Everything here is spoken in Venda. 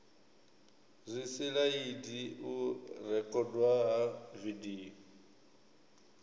zwisilaidi u rekhodwa ha vidio